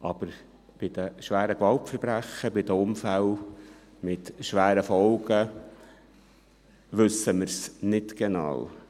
Aber bei den schweren Gewaltverbrechen und bei den Unfällen mit schweren Folgen wissen wir es nicht genau.